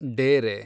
ಡೇರೆ